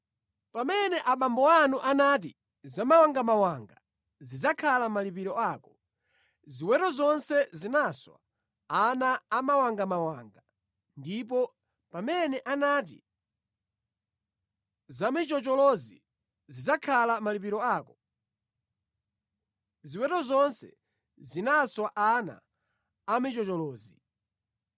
Pamene abambo anu anati, ‘Zamawangamawanga zidzakhala malipiro ako,’ ziweto zonse zinaswa ana amawangamawanga; ndipo pamene anati, ‘Zamichocholozi zidzakhala malipiro ako,’ ziweto zonse zinaswa ana a michocholozi.